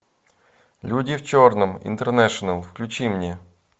люди в черном интернешнл включи мне